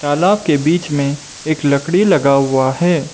तालाब के बीच में एक लकड़ी लगा हुआ है।